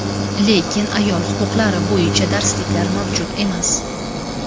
lekin ayol huquqlari bo‘yicha darsliklar mavjud emas.